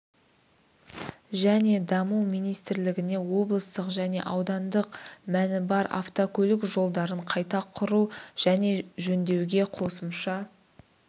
және даму министрлігіне облыстық және аудандық мәні бар автокөлік жолдарын қайта құру және жөндеуге қосымша